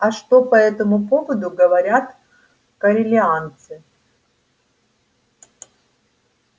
а что по этому поводу говорят корелианцы